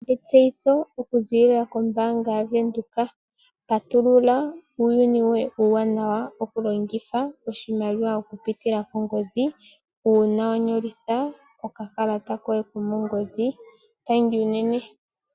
Etseyitho okuziilila kombaanga yaVenduka, patulula uuyuni woye uuwanawa okulongitha oshimaliwa okupitila kongodhi uuna wa nyolitha okakalata koye komongodhi. Tangi unene.